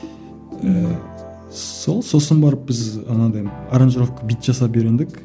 ііі сол сосын барып біз анандай аранжировка бүйтіп жасап үйрендік